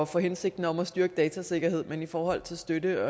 for hensigten om at styrke datasikkerheden men i forhold til støtte